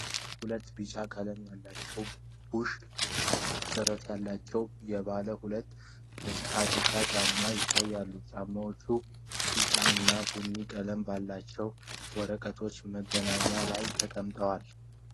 ሁለት ቢጫ ቀለም ያላቸው ቡሽ (Cork) መሠረት ያላቸው የባለ ሁለት መታጠቂያ ጫማዎች ይታያሉ። ጫማዎቹ በቢጫ እና ቡኒ ቀለም ባላቸው ወረቀቶች መገናኛ ላይ ተቀምጠዋል። (